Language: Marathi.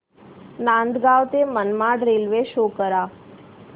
नांदगाव ते मनमाड रेल्वे शो करा